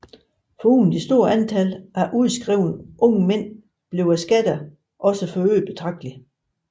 Foruden det store antal af udskrevne unge mænd blev skatterne også forøgede betragteligt